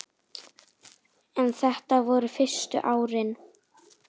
En þetta voru fyrstu árin.